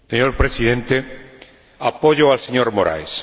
Señor Presidente, apoyo al señor Moraes.